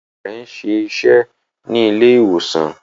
Ìyá rẹ̀ ń ṣe iṣẹ́ ní ilé ìwòsàn